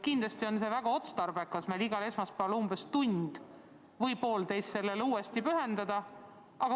Kindlasti pole väga otstarbekas igal esmaspäeval tund või poolteist sellele teemale uuesti pühendada.